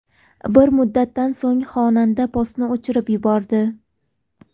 Bir muddatdan so‘ng xonanda postni o‘chirib yubordi.